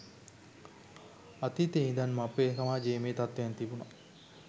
අතීතයේ ඉඳන්ම අපේ සමාජයේ මේ තත්වයන් තිබුනා